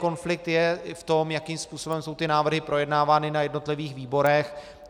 Konflikt je v tom, jakým způsobem jsou ty návrhy projednávány na jednotlivých výborech.